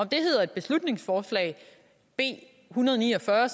det hedder et beslutningsforslag b en hundrede og ni og fyrre